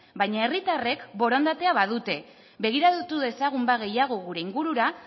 baina herritarrek borondatea badute begiratu dezagun gehiago gure ingurura